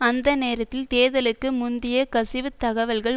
அந்த நேரத்தில் தேர்தலுக்கு முந்திய கசிவு தகவல்கள்